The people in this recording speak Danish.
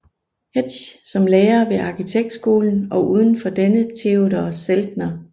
Hetsch som lærer ved arkitekturskolen og uden for denne Theodor Zeltner